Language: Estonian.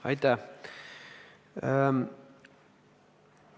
Aitäh!